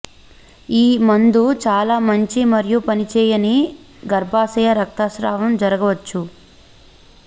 ఈ మందు చాలా మంచి మరియు పనిచేయని గర్భాశయ రక్తస్రావం జరగవచ్చు